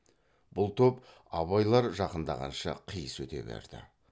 бұл топ абайлар жақындағанша қиыс өте берді